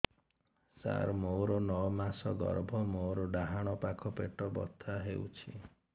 ସାର ମୋର ନଅ ମାସ ଗର୍ଭ ମୋର ଡାହାଣ ପାଖ ପେଟ ବଥା ହେଉଛି